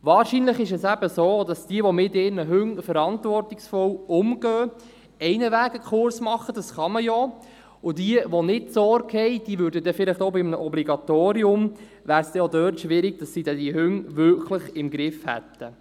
Wahrscheinlich ist es eben so, dass jene, die mit ihren Hunden verantwortungsvoll umgehen, ohnehin einen Kurs machen – das kann man ja – und diejenigen, die nicht derart Sorge tragen, hätten vielleicht auch bei einem Obligatorium Schwierigkeiten, ihre Hunde wirklich im Griff zu haben.